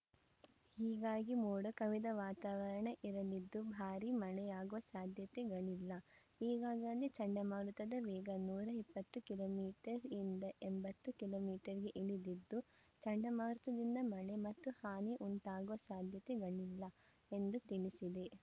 ಹೀಗಾಗಿ ಮೋಡ ಕವಿದ ವಾತಾವರಣ ಇರಲಿದ್ದು ಭಾರೀ ಮಳೆಯಾಗುವ ಸಾಧ್ಯತೆಗಳಿಲ್ಲ ಈಗಾಗಲೇ ಚಂಡಮಾರುತದ ವೇಗ ನೂರ ಇಪ್ಪತ್ತು ಕಿಲೋ ಮೀಟರ್ ಯಿಂದ ಎಂಬತ್ತು ಕಿಲೋ ಮೀಟರ್ ಗೆ ಇಳಿದಿದ್ದು ಚಂಡಮಾರುತದಿಂದ ಮಳೆ ಮತ್ತು ಹಾನಿ ಉಂಟಾಗುವ ಸಾಧ್ಯತೆಗಳಿಲ್ಲ ಎಂದು ತಿಳಿಸಿದೆ